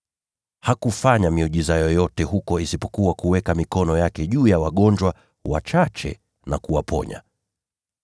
Hakufanya miujiza yoyote huko isipokuwa kuweka mikono yake juu ya wagonjwa wachache na kuwaponya.